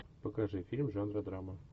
покажи фильм жанра драма